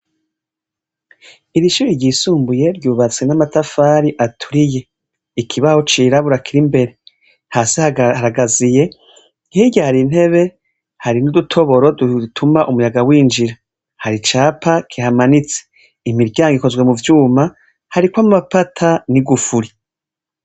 Iri shure ryisumbuye ryubatswe n'amatafari ikibaho cirabura kiri imbere hasi haragaziye hirya hari intebe hari n'udutoboro dutuma umuyaga winjira hari icapa kihamanitse. Imiryango ikozwe mu vyuma hariko amapata n'igufuri.